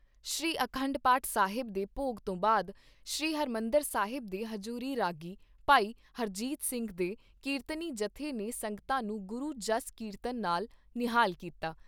ਸ਼੍ਰੀ ਅਖੰਡ ਪਾਠ ਸਾਹਿਬ ਦੇ ਭੋਗ ਤੋਂ ਬਾਅਦ ਸ਼੍ਰੀ ਹਰਿਮੰਦਰ ਸਾਹਿਬ ਦੇ ਹਜੂਰੀ ਰਾਗੀ ਭਾਈ ਹਰਜੀਤ ਸਿੰਘ ਦੇ ਕੀਰਤਨੀ ਜੱਥੇ ਨੇ ਸੰਗਤਾਂ ਨੂੰ ਗੁਰੂ ਜਸ ਕੀਰਤਨ ਨਾਲ਼ ਨਿਹਾਲ ਕੀਤਾ।